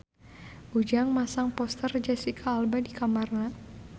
Ujang masang poster Jesicca Alba di kamarna